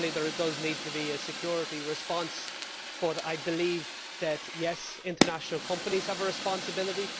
Certainly there does need to be a security response, and yes, I believe that international companies have a responsibility.